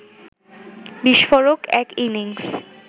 বিস্ফোরক এক ইনিংস